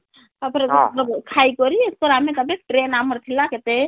ତାପରେ ଆମେ ଖାଇକରି ତାପରେ ଆମେ ତାପରେ ଟ୍ରେନ ଆମର ଥିଲା କେତେ